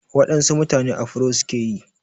Waɗansu mutane afuro suke yi.